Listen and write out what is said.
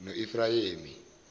noefrayemi